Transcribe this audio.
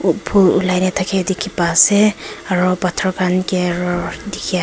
phool ulaina thake dikhi pai ase aro pathor khan ke aro dikhi.